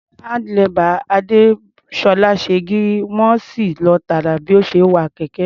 Handlebar Adésọ́lá ṣe gírí, wọ́n sì lọ tààrà bí ó ṣe ń wa kẹ̀kẹ́.